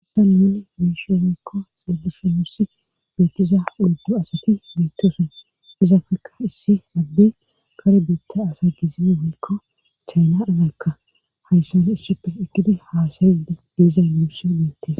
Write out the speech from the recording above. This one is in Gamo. hasani nuni beeishe woykko xeelishe wurssi beettiza,oyddu asati beettosen izafekka issi addey kare biitta asa kesiza woykko chayfnarazekka hayssana ishshippe ekkidi haasayidi diizay miishi deettees